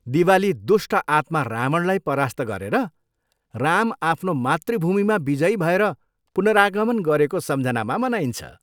दिवाली दुष्ट आत्मा रावणलाई परास्त गरेर राम आफ्नो मातृभूमिमा विजयी भएर पुनरागमन गरेको सम्झनामा मनाइन्छ।